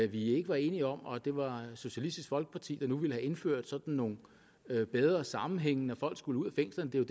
vi ikke var enige om og at det var socialistisk folkeparti der nu ville have indført nogle bedre sammenhænge når folk skulle ud af fængslerne det er